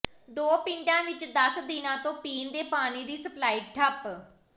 ਦੋ ਪਿੰਡਾਂ ਵਿੱਚ ਦਸ ਦਿਨਾਂ ਤੋਂ ਪੀਣ ਦੇ ਪਾਣੀ ਦੀ ਸਪਲਾਈ ਠੱਪ